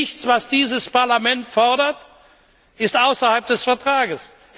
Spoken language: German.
Nichts, was dieses Parlament fordert, steht außerhalb des Vertrages.